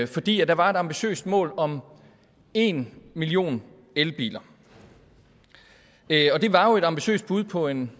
fordi der var et ambitiøst mål om en million elbiler det var jo et ambitiøs bud på en